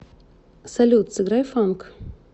салют сыграй фанк